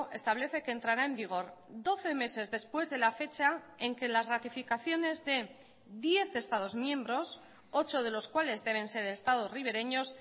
establece que entrará en vigor doce meses después de la fecha en que las ratificaciones de diez estados miembros ocho de los cuales deben ser estados ribereños